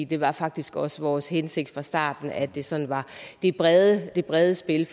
det var faktisk også vores hensigt fra starten at det sådan var det brede det brede spil